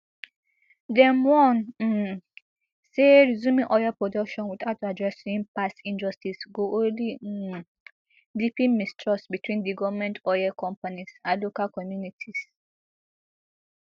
dem warn um say resuming oil production without addressing past injustices go only um deepen mistrust between di goment oil companies and local communities